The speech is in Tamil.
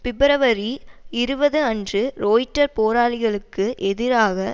பிப்ரவரி இருபது அன்று ரொய்ட்டர் போராளிகளுக்கு எதிராக